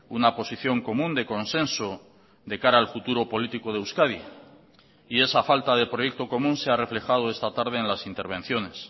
una posición común de consenso de cara al futuro político de euskadi y esa falta de proyecto común se ha reflejado esta tarde en las intervenciones